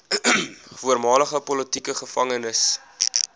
voormalige politieke gevangenes